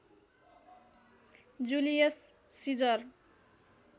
Julius Caesar